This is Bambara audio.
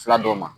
Fila dɔw ma